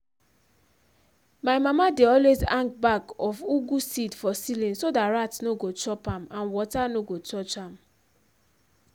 my mama dey always hang bag of ugu seed for ceiling so dat rat nor go chop am and water nor go touch am.